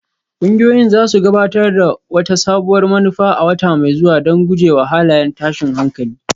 Ƙungiyoyin za su gabatar da wata sabuwar manufa a wata mai zuwa don guje wa halayen tashin hankali